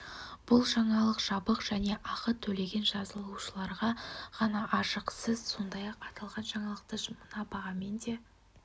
бұл жаңалық жабық және ақы төлеген жазылушыларға ғана ашық сіз сондай-ақ аталған жаңалықты мына бағамен де